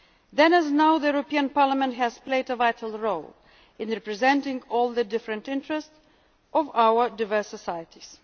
Then, as now, this Parliament has played a vital role in representing all the different interests of our diverse societies.